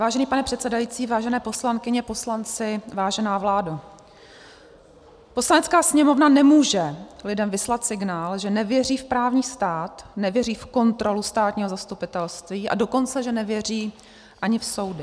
Vážený pane předsedající, vážené poslankyně, poslanci, vážená vládo, Poslanecká sněmovna nemůže lidem vyslat signál, že nevěří v právní stát, nevěří v kontrolu státního zastupitelství, a dokonce že nevěří ani v soudy.